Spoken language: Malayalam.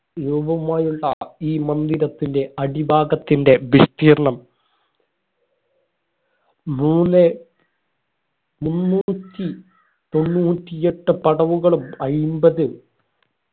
രൂപമായുള്ള ഈ മന്ദിരത്തിന്റെ അടി ഭാഗത്തിന്റെ വിസ്തീർണം മൂന്നേ മുന്നൂറ്റി തൊണ്ണൂറ്റിയെട്ട് പടവുകളും അയ്മ്പത്